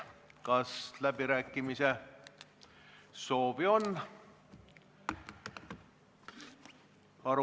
Kas läbirääkimise soovi on?